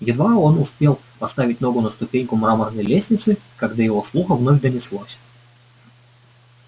едва он успел поставить ногу на ступеньку мраморной лестницы как до его слуха вновь донеслось